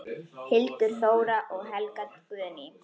Hildur Þóra og Helga Guðný.